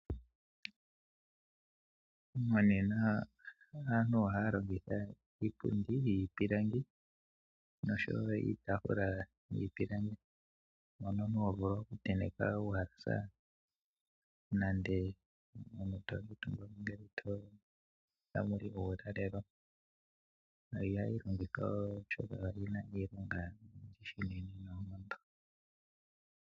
Monena aantu ohaya longitha iipundi yiipilangi osho wo iitafula yiipilangi, mono ho vulu okutenteka uuhalasa nenge to kuutumba ngele tamu li uulalelo. Ohayi longithwa oshoka oyi na iilonga oyindji noonkondo.